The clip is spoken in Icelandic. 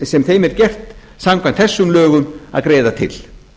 sem þeim er gert samkvæmt þessum lögum að greiða til